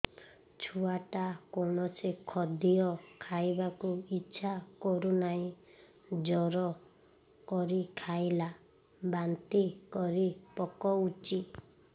ଛୁଆ ଟା କୌଣସି ଖଦୀୟ ଖାଇବାକୁ ଈଛା କରୁନାହିଁ ଜୋର କରି ଖାଇଲା ବାନ୍ତି କରି ପକଉଛି